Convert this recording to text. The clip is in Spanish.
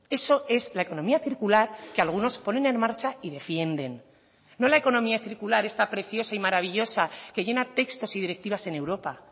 eso es la economía circular que algunos ponen en marcha y defienden no la economía circular esta preciosa y maravillosa que llena textos y directivas en europa